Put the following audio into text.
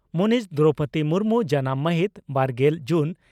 ᱢᱟᱹᱱᱤᱡ ᱫᱨᱚᱣᱯᱚᱫᱤ ᱢᱩᱨᱢᱩ ᱡᱟᱱᱟᱢ ᱺ ᱢᱟᱦᱤᱛ ᱵᱟᱨᱜᱮᱞ ᱡᱩᱱ